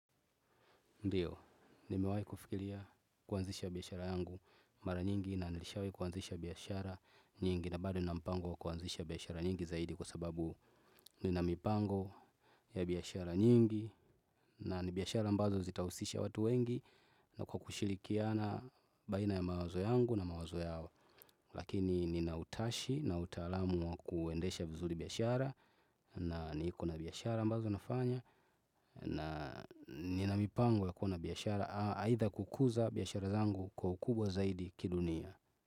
Ndiyo, nimewahi kufikiria kuanzisha biashara yangu mara nyingi na nilishawahi kuanzisha biashara nyingi na bado nina mpango wa kuanzisha biashara nyingi zaidi kwa sababu nina mipango ya biashara nyingi na ni biashara ambazo zitahusisha watu wengi na kwa kushirikiana baina ya mawazo yangu na mawazo yao. Lakini ninautashi na utaalamu wa kuendesha vizuri biashara na nikona biashara ambazo nafanya na nina mipango ya kuona biashara aitha kukuza biashara zangu kwa ukubwa zaidi kidunia.